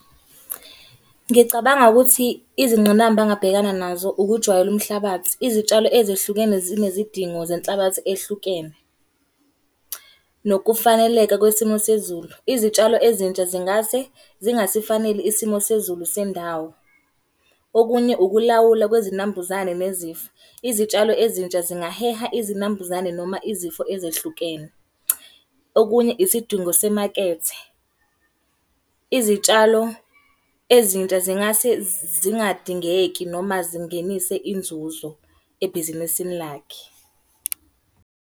Ngicabanga ukuthi izingqinamba angabhekana nazo ukujwayela umhlabathi. Izitshalo ezehlukene zinezidingo zenhlabathi ehlukene. Nokufaneleka kwesimo sezulu. Izitshalo ezintsha zingase zingasifaneli isimo sezulu sendawo. Okunye ukulawula kwezinambuzane nezifo. Izitshalo ezintsha zingaheha izinambuzane noma izifo ezehlukene. Okunye isidingo semakethe. Izitshalo ezintsha zingase zingadingeki noma zingenise inzuzo ebhizinisini lakhe.